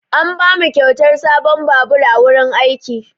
An bamu kyautar sabon babur a wurin aiki.